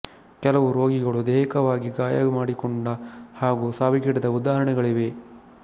ಕೆಲವು ರೋಗಿಗಳು ದೈಹಿಕವಾಗಿ ಗಾಯ ಮಾಡಿಕೊಂಡ ಹಾಗೂ ಸಾವಿಗೀಡಾದ ಉದಾಹರಣೆಗಳಿವೆ